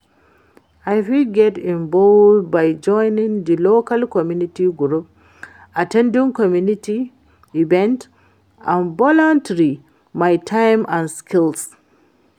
i fit get involved by joining di local community group, at ten ding community events and volunteering my time and skills.